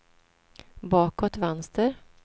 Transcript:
bakåt vänster